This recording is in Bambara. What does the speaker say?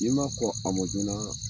I m ma kɔn a mɔ joona